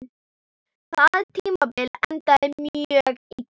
Það tímabil endaði mjög illa.